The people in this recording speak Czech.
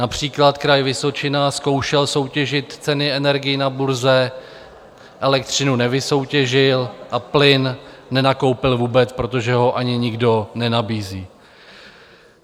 Například Kraj Vysočina zkoušel soutěžit ceny energií na burze, elektřinu nevysoutěžil a plyn nenakoupil vůbec, protože ho ani nikdo nenabízí.